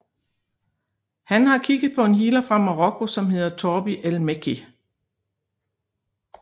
Han har kigget på en healer fra Marokko som hedder Torbi el Mekki